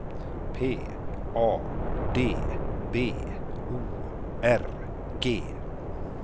P A D B O R G